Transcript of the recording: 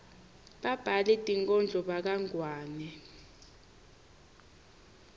babhali tinkhondlo bakangwane